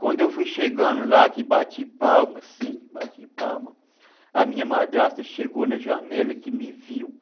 Quando eu fui chegando lá, que bati palma, assim, bati palma, a minha madrasta chegou na janela, que me viu.